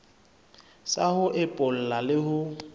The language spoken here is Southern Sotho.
sa ho epolla le ho